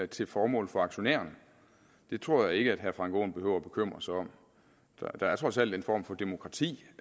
til formål for aktionærerne det tror jeg ikke herre frank aaen behøver at bekymre sig om der er trods alt en form for demokrati